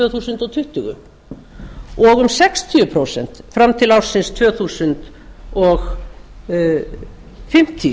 þúsund tuttugu og um sextíu prósent fram til ársins tvö þúsund fimmtíu